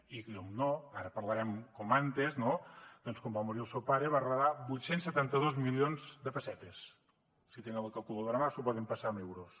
i per descomptat ara parlarem com abans no doncs quan va morir el seu pare va heretar vuit cents i setanta dos milions de pessetes si tenen la calculadora a mà s’ho poden passar en euros